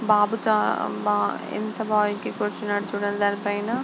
బాబు చాలా ఎంత బాగా కూర్చున్నాడు చూడండి దానిపైన.